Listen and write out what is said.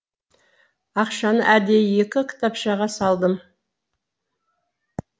ақшаны әдейі екі кітапшаға салдым